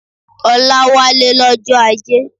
Ọlá wálé lọ́jọ́ Ajé